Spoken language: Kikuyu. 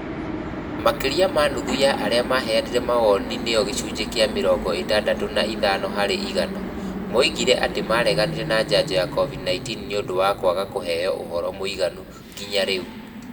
Makĩria ma nuthu ya arĩa maheanire mawoni nĩo gĩcunjĩ kĩa mĩrongo ĩtandatũ na ithano harĩ igana, moigire atĩ mareganire na njanjo ya covid-19 nĩ ũndũ wa kũaga kũheo ũhoro mũiganu nginya rĩu.